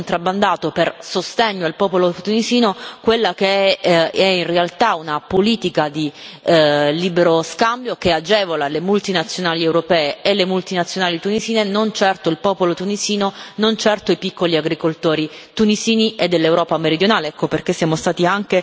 Abbiamo cioè spesso contrabbandato per sostegno al popolo tunisino quella che in realtà è una politica di libero scambio che agevola le multinazionali europee e le multinazionali tunisine e non certo il popolo tunisino, non certo i piccoli agricoltori tunisini e dell'Europa meridionale.